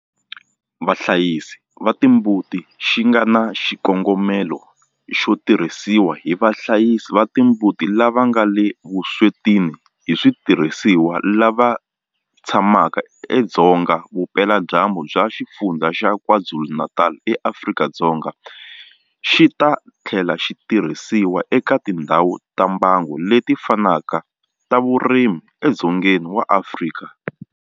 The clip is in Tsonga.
Vahlayisi va timbuti xi nga na xikongomelo xo tirhisiwa hi vahlayisi va timbuti lava nga le vuswetini hi switirhisiwa lava tshamaka edzonga vupeladyambu bya Xifundzha xa KwaZulu-Natal eAfrika-Dzonga, xi ta tlhela xi tirhisiwa eka tindhawu ta mbango leti fanaka ta vurimi edzongeni wa Afrika.